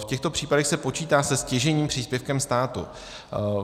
V těchto případech se počítá se stěžejním příspěvkem státu.